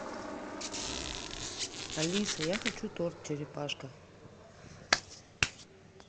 алиса я хочу торт черепашка